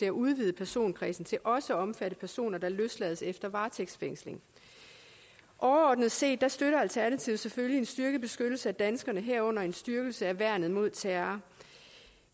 at udvide personkredsen til også at omfatte personer der løslades efter varetægtsfængsling overordnet set støtter alternativet selvfølgelig en styrket beskyttelse af danskerne herunder en styrkelse af værnet mod terror